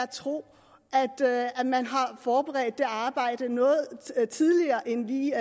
tro at man har forberedt det arbejde noget tidligere end lige